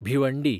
Bhiwandi